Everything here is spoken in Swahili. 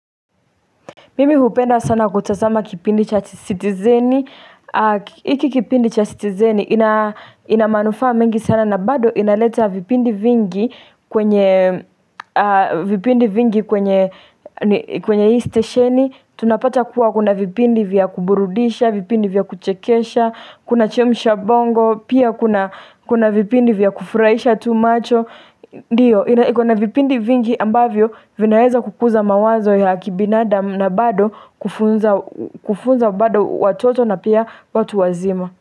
Mimi hupenda sana kutazama kipindi cha citizeni. Hiki kipindi cha sitizeni ina manufaa mengi sana na bado inaleta vipindi vipindi vingi kwenye stesheni. Tunapata kuwa kuna vipindi vya kuburudisha, vipindi vya kuchekesha, kuna chemsha bongo, pia kuna vipindi vya kufurahisha tu macho. Ndiyo, ikona vipindi vingi ambavyo vinaeza kukuza mawazo ya kibinadamu na bado kufunza bado watoto na pia watu wazima.